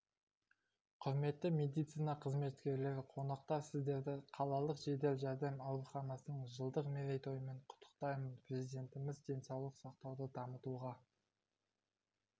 құрметті медицина қызметкерлері қонақтар сіздерді қалалық жедел жәрдем ауруханасының жылдық мерейтойымен құттықтаймын президентіміз денсаулық сақтауды дамытуға